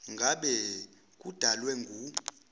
ngabe kudalwe ngu